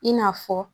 I n'a fɔ